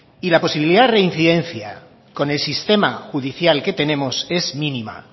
y la posibilidad de reincidencia con el sistema judicial que tenemos es mínima